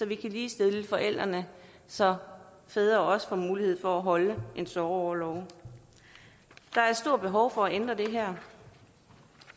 kan ligestille forældrene så fædre også får mulighed for at holde en sorgorlov der er et stort behov for at ændre på det her